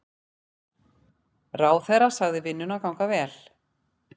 Ráðherra sagði vinnuna ganga vel.